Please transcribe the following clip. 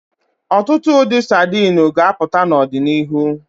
Ọtụtụ ụdị sadini ga-apụta n'ọdịnihu.